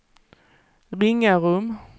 Ringarum